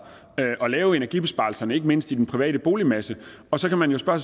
at lave energibesparelserne ikke mindst i den private boligmasse og så kan man jo spørge